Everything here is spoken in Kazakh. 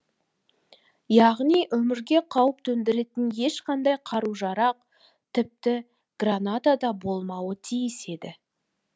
яғни өмірге қауіп төндіретін ешқандай қару жарақ тіпті граната да болмауы тиіс еді